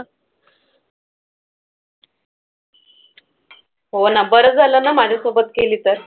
हो ना. बरं झालं ना माझ्यासोबत केली तर.